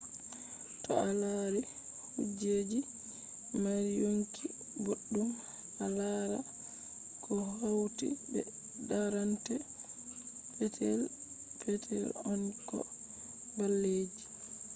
to a lari kujeji je mari yonki boddum a laran ko hauti be tarrande petel petel on ko ball ji